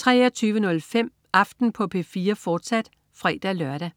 23.05 Aften på P4, fortsat (fre-lør)